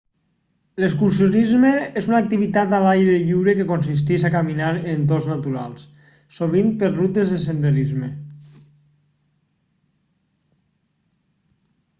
l'excursionisme és una activitat a l'aire lliure que consisteix a caminar en entorns naturals sovint per rutes de senderisme